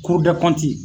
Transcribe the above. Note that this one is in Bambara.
K'u bɛɛ